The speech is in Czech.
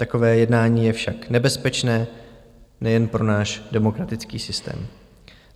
Takové jednání je však nebezpečné nejen pro náš demokratický systém.